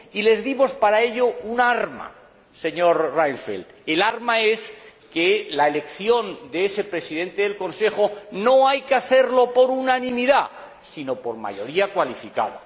Y les dimos para ello un arma, señor Reinfeldt el arma es que la elección de ese Presidente del Consejo no hay que hacerla por unanimidad, sino por mayoría cualificada.